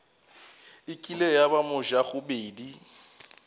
e kile ya ba mojagobedi